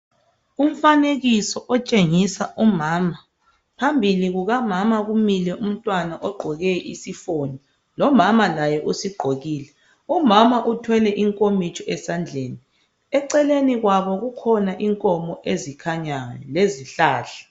Umfanekiso otshengisa umama, phambili kukamama kumile umntwana ogqoke isifonyo, lomama laye usigqokile. Umama uthwele inkomitsho esandleni. Eceleni kwabo kukhona inkomo ezikhanyayo lezihlahla.